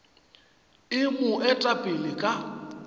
e mo eta pele ka